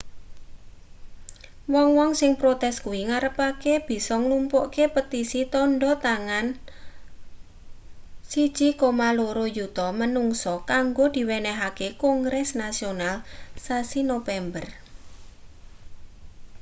wong-wong sing protes kuwi ngarepake bisa nglumpukke petisi tandha tangan 1,2 yuta manungsa kanggo diwenehke kongres nasional sasi nopember